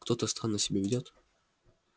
кто-то странно себя ведёт